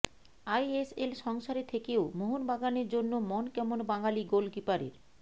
ISL সংসারে থেকেও মোহনবাগানের জন্য মন কেমন বাঙালি গোলকিপারের